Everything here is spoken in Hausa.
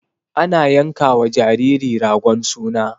Ana yankawa jariri ragon suna.